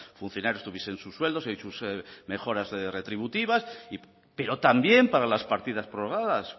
funcionarios tuvieran sus sueldos y sus mejoras retributivas pero también para las partidas prorrogadas